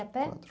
a pé?